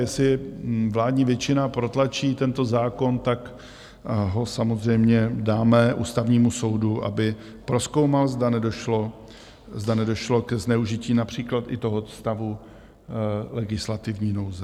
Jestli vládní většina protlačí tento zákon, tak ho samozřejmě dáme Ústavnímu soudu, aby prozkoumal, zda nedošlo ke zneužití například i toho stavu legislativní nouze.